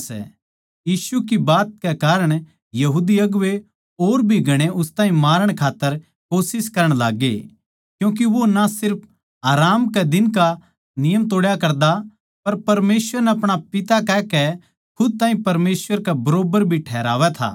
यीशु की बात के कारण यहूदी अगुवें और भी घणे उस ताहीं मारण खात्तर कोशिश करण लाग्गे क्यूँके वो ना सिर्फ आराम कै दिन का नियम तोड्या करदा पर परमेसवर नै अपणा पिता कहकै खुद ताहीं परमेसवर कै बरोबर भी ठैहरावै था